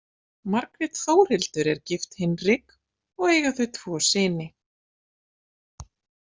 Margrét Þórhildur er gift Hinrik og eiga þau tvo syni.